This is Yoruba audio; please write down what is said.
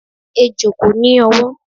Ejò kò ní ọwọ́.